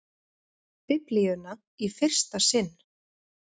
Biblíuna í fyrsta sinn.